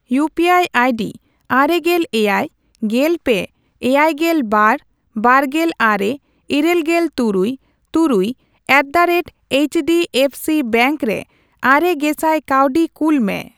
ᱤᱭᱩᱯᱤᱟᱭ ID ᱟᱨᱮᱜᱮᱞ ᱮᱭᱟᱭ, ᱜᱮᱞᱯᱮ, ᱮᱭᱟᱭᱜᱮᱞ ᱵᱟᱨ, ᱵᱟᱨᱜᱮᱞ ᱟᱨᱮ, ᱤᱨᱟᱹᱞᱜᱮᱞ ᱛᱩᱨᱩᱭ, ᱛᱩᱨᱩᱭ ᱮᱴᱫᱟᱨᱮᱴ H D F C bank ᱨᱮ ᱟᱨᱮᱜᱮᱥᱟᱭ ᱠᱟᱹᱣᱰᱤ ᱠᱩᱞ ᱢᱮ ᱾